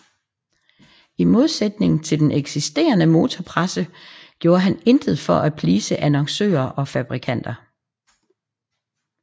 I modsætning til den eksisterende motorpresse gjorde han intet for at please annoncører og fabrikanter